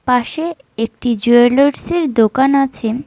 পাশে একটি জুয়েলার্সের দোকান আছে।